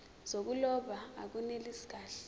zokuloba akunelisi kahle